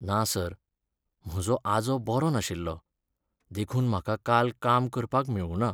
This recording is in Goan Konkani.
ना सर, म्हजो आजो बरो नाशिल्लो, देखून म्हाका काल काम करपाक मेळुना.